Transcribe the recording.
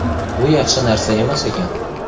Bu yaxshi narsa emas ekan.